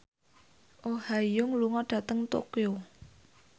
Oh Ha Young lunga dhateng Tokyo